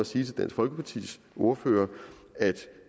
sige til dansk folkepartis ordfører at